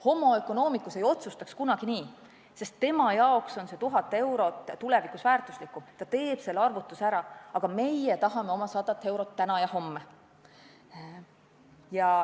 Homo economicus ei otsustaks kunagi nii, sest tema jaoks on see 1000 eurot tulevikus väärtuslikum, ta teeb selle arvutuse ära, aga meie tahame oma 100 eurot täna ja homme.